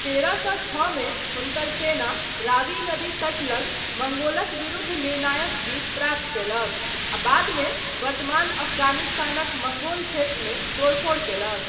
तेरह सए छओ मे हुनकर सेना रावी नदी तट लग मंगोलक विरुद्ध निर्णायक जीत प्राप्त कयलक आ बादमे वर्तमान अफगानिस्तानक मंगोल क्षेत्रमे तोड़फोड़ कयलक।